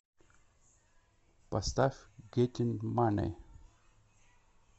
поставь геттин мани